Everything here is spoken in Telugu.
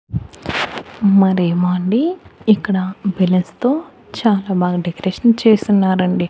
మరేమో అండి ఇక్కడ బెలూన్స్ తో చాలా బాగా డెకరేషన్ చేస్తున్నారండి.